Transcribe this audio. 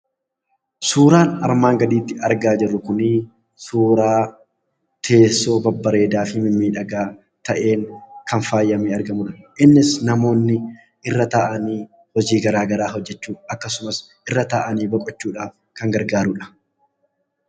Suuraan armaan gaditti argaa jirru kun, suuraa teessoo babbareedaa fi miidhagaa ta'e, kan faayamee argamudha. Innis namoonni irra taa'anii hojii gara garaa hojjechuuf akkasumas irra taa'anii boqochuudhaaf kan gargaarudha.